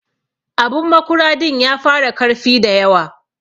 Abun makura din ya fara karfi da yawa.